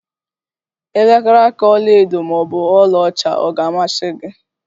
Elekere aka ọla edo maọbụ ọla ọcha ọ ga-amasi gi?